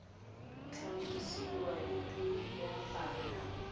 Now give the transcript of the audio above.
tlhalosiwang e le ya bana